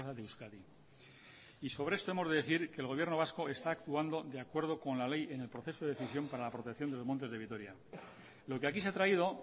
de euskadi y sobre esto debemos decir que el gobierno vasco está actuando de acuerdo con la ley en el proceso de decisión para la protección de los montes de vitoria lo que aquí se ha traído